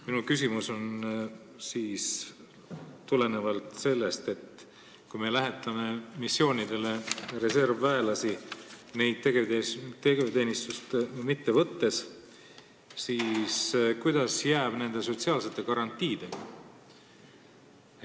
Minu küsimus tuleneb sellest, et kui me lähetame missioonidele reservväelasi, aga neid tegevteenistusse ei võta, siis kuidas jääb nende sotsiaalsete garantiidega.